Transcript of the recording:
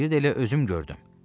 Deyirdi elə özüm gördüm.